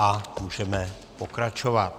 A můžeme pokračovat.